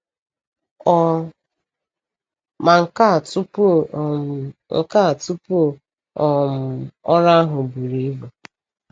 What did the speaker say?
Ọ ma nka tupu um nka tupu um ọrụ ahụ buru ibu?